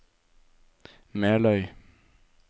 Meløy